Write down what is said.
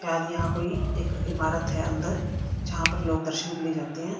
शायद यहां कोई एक इमारत है अंदर जहां पर लोग दर्शन के लिए जाते हैं।